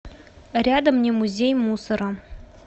рядом немузей мусора